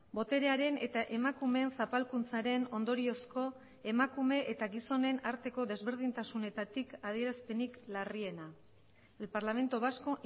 boterearen eta emakumeen zapalkuntzaren ondoriozko emakume eta gizonen arteko desberdintasunetatik adierazpenik larriena el parlamento vasco